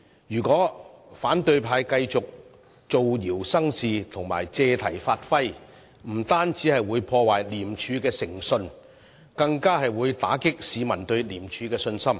如果反對派繼續造謠生事和借題發揮，不單會破壞廉署的誠信，更會打擊市民對廉署的信心。